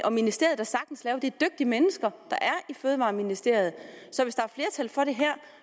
og ministeriet da sagtens lave det er dygtige mennesker der er i fødevareministeriet